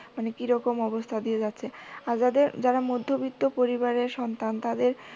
মানে কিরকম অবস্থা দিয়ে যাচ্ছে আর যারা মধ্যবিত্ত পরিবারের সন্তান তাদের